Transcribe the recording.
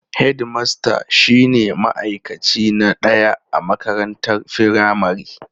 Hedmasta shine ma'aikaci na ɗaya a makarantar firamare.